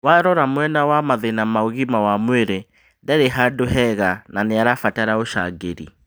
Warora mwena wa mathĩna ma ũgima wa mwĩrĩ, ndarĩ handũ hega na nĩarabatara ũcangĩri.